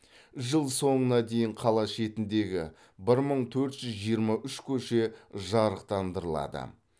жыл соңына дейін қала шетіндегі бір мың төрт жүз жиырма үш көше жарықтандырылады